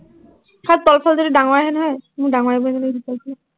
চা তলফালে যদি ডাঙৰ আহে নহয়, মোৰ ডাঙৰ আহিব নিচিনা লাগিছে, তলফালে।